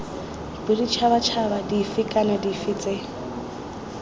boditšhabatšhaba dife kana dife tse